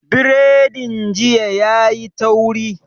Biredin jiya yayi tauri